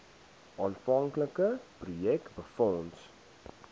aanvanklike projek befonds